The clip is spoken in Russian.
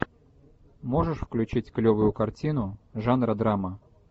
можешь включить клевую картину жанра драма